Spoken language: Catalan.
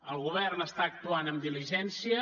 el govern està actuant amb diligència